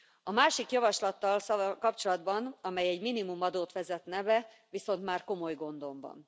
A másik javaslattal kapcsolatban, amely egy minimumadót vezetne be, viszont már komoly gondom van.